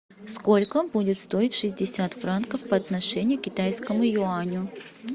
сколько будет стоить шестьдесят франков по отношению к китайскому юаню